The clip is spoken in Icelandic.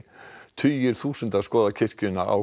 tugir þúsunda skoða kirkjuna á